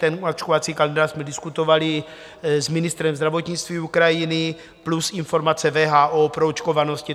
Ten očkovací kalendář jsme diskutovali s ministrem zdravotnictví Ukrajiny plus informace WHO o proočkovanosti.